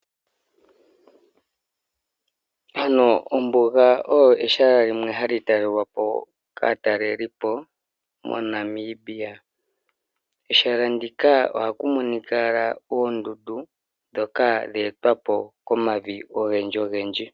Ombuga olyo ehala limwe hali talelwapo kaatalelipo moNamibia. Kehala huka ohaku monika ndjoka lya etwapo komavi ogendji.